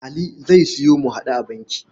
Ali zai sayo mu-haɗu-a-banki.